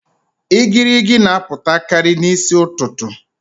Igirigi n'apụtakarị n'isi ụtụtụ